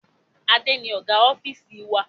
Adé ni Ọ̀gá ofiisi wa.